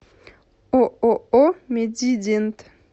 ооо медидент